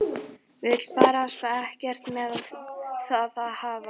Vill barasta ekkert með það hafa.